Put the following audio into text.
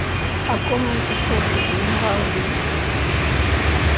о ком он печётся генерал ли